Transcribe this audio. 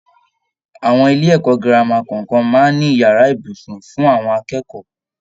Àwọn ilé-ẹ̀kọ́ gírámà kọọkan máa ń n'ìyàrá ibùsùn fún àwọn akẹ́kọ̀ọ́